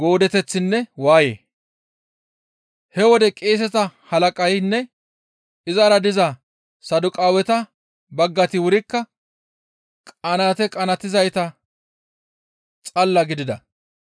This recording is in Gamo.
He wode qeeseta halaqaynne izara diza Saduqaaweta baggayti wurikka qanaate qanaatizayta xalla gidida.